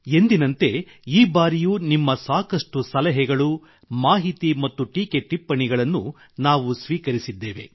ಎಂದಿನಂತೆ ಈ ಬಾರಿಯೂ ನಿಮ್ಮ ಸಾಕಷ್ಟು ಸಲಹೆಗಳು ಮಾಹಿತಿ ಮತ್ತು ಟೀಕೆ ಟಿಪ್ಪಣಿಗಳನ್ನು ನಾವು ಸ್ವೀಕರಿಸಿದ್ದೇವೆ